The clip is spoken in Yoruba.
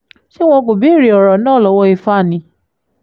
ṣé wọn kò béèrè ọ̀rọ̀ náà lọ́wọ́ ifá ni